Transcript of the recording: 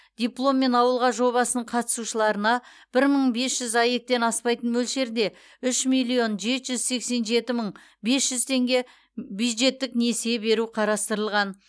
дипломмен ауылға жобасының қатысушыларына бір мың бес жүз аек тен аспайтын мөлшерде үш миллион жеті жүз сексен жеті мың бес жүз теңге бюджеттік несие беру қарастырылған